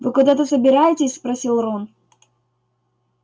вы куда-то собираетесь спросил рон